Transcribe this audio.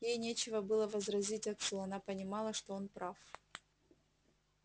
ей нечего было возразить отцу она понимала что он прав